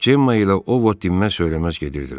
Cemma ilə O Vot dinməz söyləməz gedirdilər.